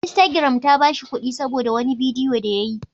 Instagram ta ba shi kuɗi saboda wani bidiyo da ya yi.